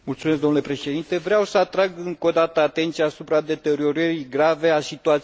Vreau să atrag încă o dată atenția asupra deteriorării grave a situației romilor.